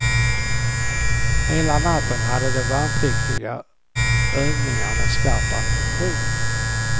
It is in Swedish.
Hela natten hade de värnpliktiga övningar med skarp ammunition.